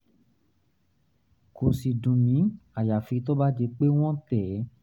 kò sì dùn mí àyàfi tó bá di pé wọ́n tẹ̀ ẹ́